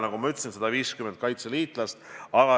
Nagu ma ütlesin, kaasati 150 kaitseliitlast.